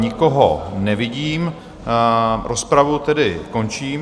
Nikoho nevidím, rozpravu tedy končím.